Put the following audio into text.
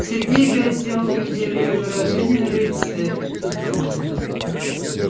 сергей опять сделал горделивое выражение на лице